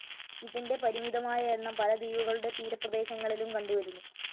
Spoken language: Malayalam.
ഇതിൻ്റെ പരിമിതമായ എണ്ണം പല ദ്വീപുകളുടെ തീരപ്രേദേശങ്ങളിലും കണ്ടുവരുന്നു.